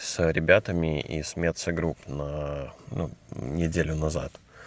с ребятами из мецо групп на ну неделю назад